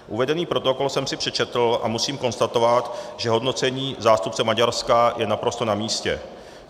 Uvedený protokol jsem si přečetl a musím konstatovat, že hodnocení zástupce Maďarska je naprosto na místě.